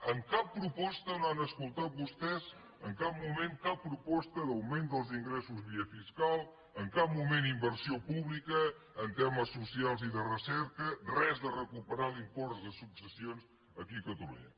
en cap proposta no han escoltat vostès en cap moment cap proposta d’augment dels ingressos via fiscal en cap moment inversió pública en temes socials i de recerca res de recuperar l’impost de successions aquí a catalunya